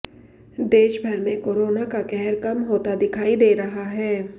देशभर में कोरोना का कहर कम होता दिखाई दे रहा है